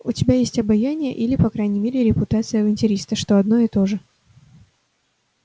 у тебя есть обаяние или по крайней мере репутация авантюриста что одно и то же